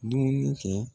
Dumuni kɛ